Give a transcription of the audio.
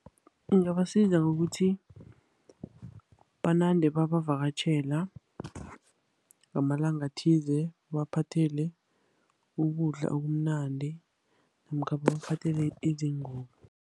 Ingabasiza ngokuthi banande babavakatjhela ngamalanga athize, babaphathele ukudla okumnandi, namkha bamphathele izingubo.